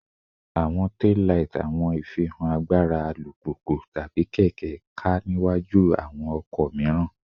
Awọn taillight awọn ifihan agbara alupupu/keke ká niwaju awọn ọkọ miiran